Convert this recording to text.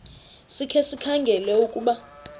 sikhe sikhangele ukuba